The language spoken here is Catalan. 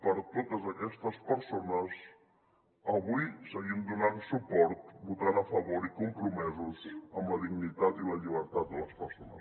per totes aquestes persones avui seguim donant suport votant a favor i compromesos amb la dignitat i la llibertat de les persones